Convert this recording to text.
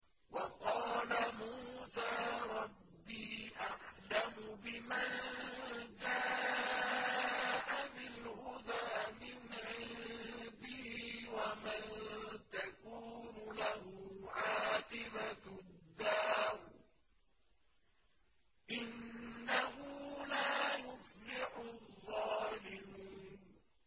وَقَالَ مُوسَىٰ رَبِّي أَعْلَمُ بِمَن جَاءَ بِالْهُدَىٰ مِنْ عِندِهِ وَمَن تَكُونُ لَهُ عَاقِبَةُ الدَّارِ ۖ إِنَّهُ لَا يُفْلِحُ الظَّالِمُونَ